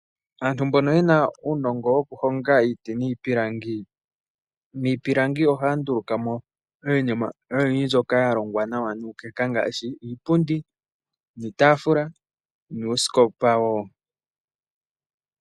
Aantu mbono yena unongo wokuhonga iti nipilangi, mipilangi ohaya ndulukamo iinima oyindji mbyoka yalongwa nawa nukeka ngashi, iipundi, iitafula, nuusikopa wo.